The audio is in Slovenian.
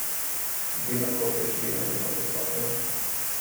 Bi lahko prišli na njihovo stopnjo?